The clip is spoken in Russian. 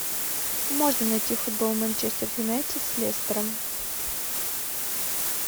можно найти футбол манчестер юнайтед с лестером